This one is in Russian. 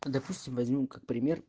допустим возьмём как пример